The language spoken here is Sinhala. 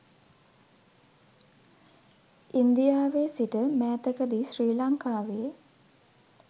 ඉන්දියාවේ සිට මෑතක දී ශ්‍රී ලංකාවේ